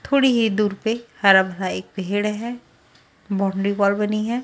थोड़ी ही दूर पे एक हरा भरा एक पेड़ है बोंडी बॉल बनी है।